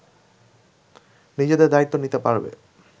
নিজেদের দায়িত্ব নিতে পারবে